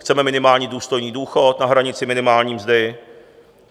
Chceme minimální důstojný důchod na hranici minimální mzdy.